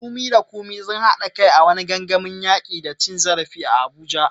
Funmi da Kunmi sun haɗa kai a wani gangamin yaki da cin zarafi a Abuja.